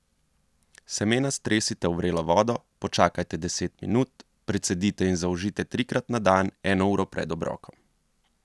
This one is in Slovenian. Semena stresite v vrelo vodo, počakajte deset minut, precedite in zaužijte trikrat na dan eno uro pred obrokom.